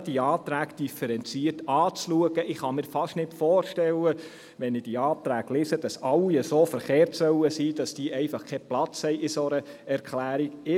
Wenn ich diese Anträge lese, kann ich mir gar nicht vorstellen, dass diese alle so verkehrt sein sollen und keinen Platz in einer solchen Erklärung haben.